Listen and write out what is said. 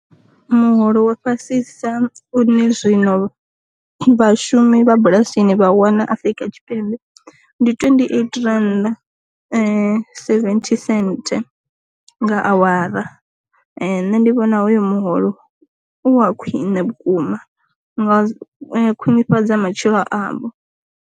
Muholo wa fhasisa une zwino vha shumi vha bulasini vha wana Afrika Tshipembe ndi twendi eight randa seventy senthe nga awara, nṋe ndi vhona hoyo muholo u wa khwiṋe vhukuma nga khwinifhadza matshilo avho.